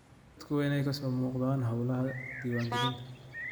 Dadku waa inay ka soo muuqdaan hawlaha diiwaangelinta.